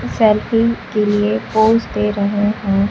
Selfie के लिए pose दे रहे हैं।